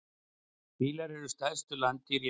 Fílar eru stærstu landdýr jarðarinnar.